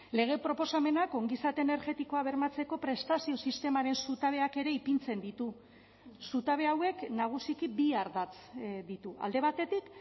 lege proposamenak ongizate energetikoa bermatzeko prestazio sistemaren zutabeak ere ipintzen ditu zutabe hauek nagusiki bi ardatz ditu alde batetik